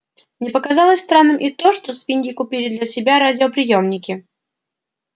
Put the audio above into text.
не показалось странным и то что свиньи купили для себя радиоприёмники